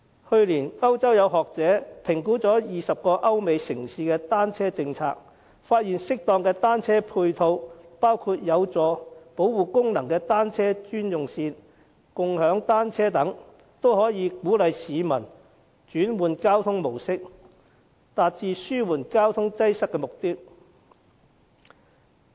去年，歐洲有學者評估20個歐美城市的單車政策，發現適當的單車配套，包括有保護功能的單車專用線、共享單車等，均可以鼓勵市民轉換交通模式，達致紓緩交通擠塞的目的。